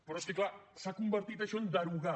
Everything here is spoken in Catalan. però és que clar s’ha convertit això en derogar